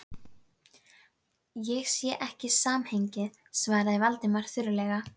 Ég sé ekki samhengið- svaraði Valdimar þurrlega.